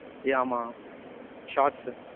yaeh ஆமா, shorts சு.